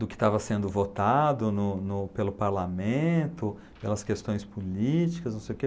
do que estava sendo votado no no pelo parlamento, pelas questões políticas, não sei o quê.